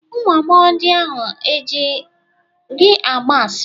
Ụmụ agbọghọ ndị ahụ e ji gị agba asịrị?